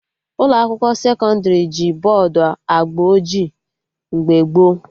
Ụlọ akwụkwọ sekọndrị ji bọdụ agba ojii mgbe gboo